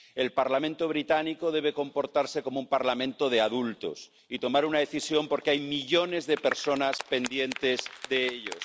El Parlamento británico debe comportarse como un Parlamento de adultos y tomar una decisión, porque hay millones de personas pendientes de ellos.